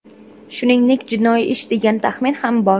Shuningdek, jinoiy ish degan taxmin ham bor.